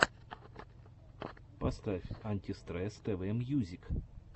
поставь антистресс тв мьюзик